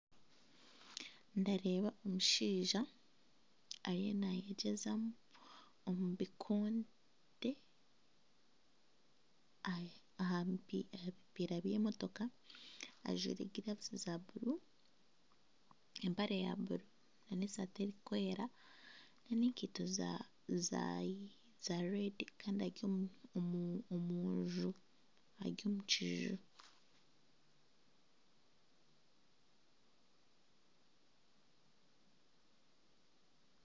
Ndareeba omushaija ariyo naayegyezamu omu bikonde aha bipiira by'emotoka ajwire giravu za buru, empare ya buru nana eshati erikwera n'enkaitu za reedi kandi ari omu kiju